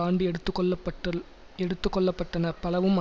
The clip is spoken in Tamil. ஆண்டு எடுத்து கொள்ள பட்ட எடுத்துக்கொள்ளப்பட்டன பலவும்